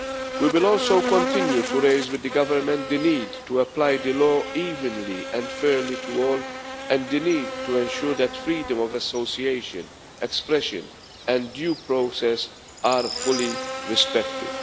We will also continue to raise with the government the need to apply the law evenly and fairly to all, and the need to ensure that freedom of association, expression and due process are fully respected.